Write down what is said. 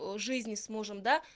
о жизни с мужем да